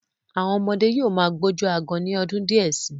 Àwọn ọmọdé yóò má gbójú aágan ní ọdún díẹ̀ sí.